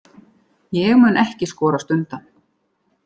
Ég mun ekki skorast undan.